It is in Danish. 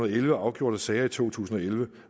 elleve afgjorte sager i to tusind og elleve